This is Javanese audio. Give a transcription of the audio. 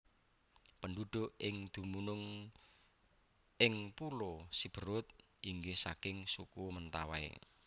Pendhuhuk ing dumunung ing pulo Siberut inggih saking Suku Mentawai